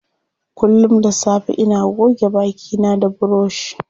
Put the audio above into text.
Kullum da safe ina goge baki na da buroshi.